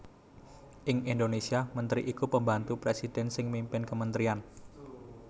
Ing Indonésia mentri iku pembantu presidhèn sing mimpin kementrian